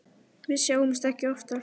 Við sjáumst ekki oftar.